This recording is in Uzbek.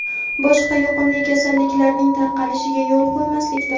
boshqa yuqumli kasalliklarning tarqalishiga yo‘l qo‘ymaslikdir.